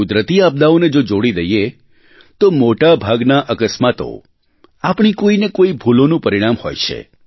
કુદરતી આપદાઓને જો છોડી દઇએ તો મોટાભાગના અકસ્માતો આપણી કોઇને કોઇ ભૂલોનું પરિણામ હોય છે